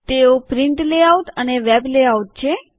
તેઓ print layout અને web layout છે